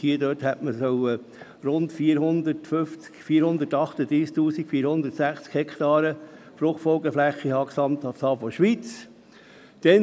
Demgemäss hätte man in der Schweiz gesamthaft Fruchtfolgeflächen von 438 460 Hektaren haben sollen.